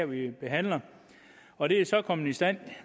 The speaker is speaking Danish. vi behandler og det er så kommet i stand